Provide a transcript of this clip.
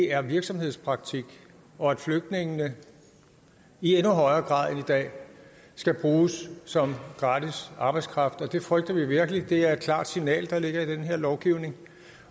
er virksomhedspraktik og at flygtningene i endnu højere grad end i dag skal bruges som gratis arbejdskraft det frygter vi virkelig det er et klart signal der ligger i den her lovgivning